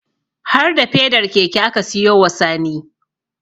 Har da fedar keke aka siyo wa Sani